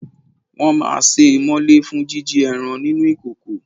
Wọn máa sé e mọ́lé fún jíjí ẹran nínú ìkòkò.